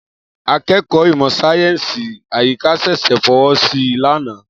Akẹ́kọ̀ọ́ ìmọ̀ sáyẹ́sì àyíká ṣẹ̀ṣẹ̀ fọwọ́ sí i lánàá.